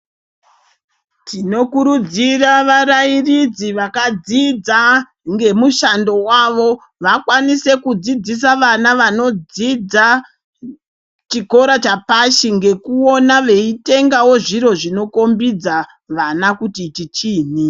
Tinokurudzira varairidzi vakadzidza ngemushando wavo vakwaise kudzidzisa vana vanodzidza chikora chapashi nekuona veitengawo zviro zvinokombidza vana kuti ichi chiinyi .